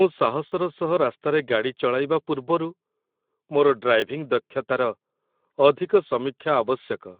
ମୁଁ ସାହସର ସହ ରାସ୍ତାରେ ଗାଡ଼ି ଚଳାଇବା ପୂର୍ବରୁ ମୋର ଡ୍ରାଇଭିଂ ଦକ୍ଷତାର ଅଧିକ ସମୀକ୍ଷା ଆବଶ୍ୟକ।